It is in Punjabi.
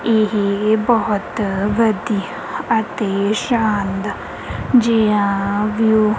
ਇਹ ਬਹੁਤ ਵਧੀਆ ਅਤੇ ਸ਼ਾਨਦਾਰ ਜਿਹਾ ਵਿਊ --